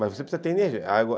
Mas você precisa ter energia.